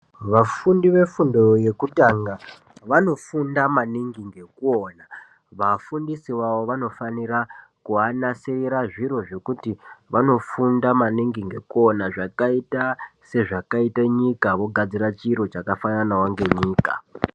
Vafundi vefundo yekutanga vanofunda maningi ngekuona vafundisi vavo kuvanasirira zviro zvekuti vanofunda maningi ngekuona zvakaita sezvakaita nyika vogadzira chiro chakachakafanawo nenyika.